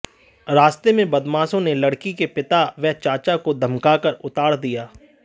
रास्ते में बदमाशों ने लड़की के पिता व चाचा को धमकाकर उतार दिया